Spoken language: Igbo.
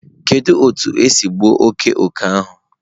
Kedu otu esi gbuo oke oke ahu?